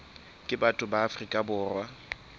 ka batho ba afrika borwa